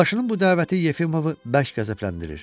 Yoldaşının bu dəvəti Yefimovu bərk qəzəbləndirir.